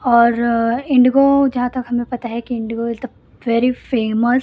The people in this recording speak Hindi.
और इंडिगो जहां तक हमें पता है कि Indigo is the very famous --